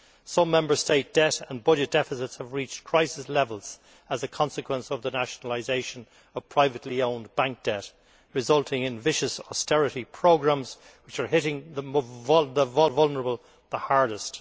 Some Member States' debt and budget deficits have reached crisis levels as a consequence of the nationalisation of privately owned bank debt, resulting in vicious austerity programmes which are hitting the vulnerable hardest.